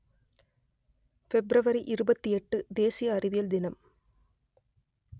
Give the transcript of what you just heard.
பிப்ரவரி இருபத்தி எட்டு தேசிய அறிவியல் தினம்